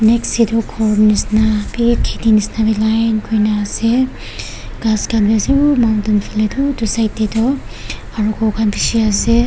next tey toh ghor nishina bi kheti nishina wi line kurina ase ghas khan wi ase u mountain phale utey side tey tu aro ghor khan bishi ase.